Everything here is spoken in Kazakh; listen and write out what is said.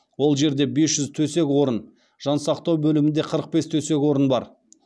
ол жерде бес жүз төсек орын жансақтау бөлімінде қырық бес төсек орын бар